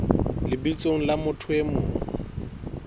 lebitsong la motho e mong